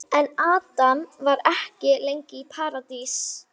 En Adam var ekki lengi í Paradís.